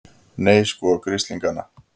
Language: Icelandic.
Nei, sko grislingana!